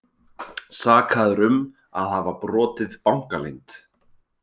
Sakaður um að hafa brotið bankaleynd